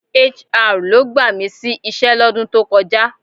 HR ló gbà mí sí iṣẹ́ lọ́dún tó kọjá